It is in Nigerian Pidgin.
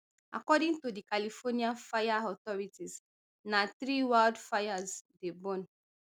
according to di californian fire authority na three wildfires dey burn